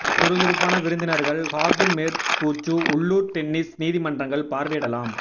சுறுசுறுப்பான விருந்தினர்கள் ஹார்டு மேற்பூச்சு உள்ளூர் டென்னிஸ் நீதிமன்றங்கள் பார்வையிடலாம்